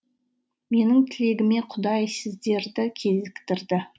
менің тілегіме құдай сіздерді кезіктірді